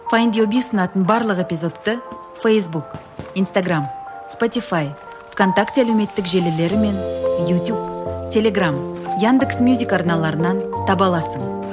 файдюби ұсынатын барлық эпизодты фейсбук инстаграмм спотифай в контакте әлеуметтік желілері мен ютуб телеграмм яндекс мюзик арналарынан таба аласың